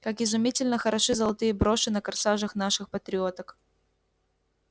как изумительно хороши золотые броши на корсажах наших патриоток